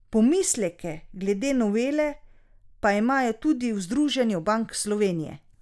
Pomisleke glede novele pa imajo tudi v Združenju bank Slovenije.